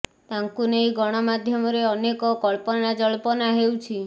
ତାଙ୍କୁ ନେଇ ଗଣ ମାଧ୍ୟମରେ ଅନେକ କଳ୍ପନା ଜଳ୍ପନା ହେଉଛି